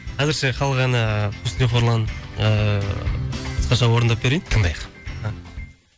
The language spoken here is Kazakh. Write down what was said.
әзірше халық әні құсни қорлан ыыы қысқаша орындап берейін тыңдайық